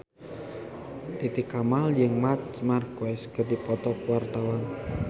Titi Kamal jeung Marc Marquez keur dipoto ku wartawan